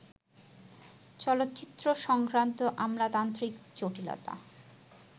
চলচ্চিত্র-সংক্রান্ত আমলাতান্ত্রিক জটিলতা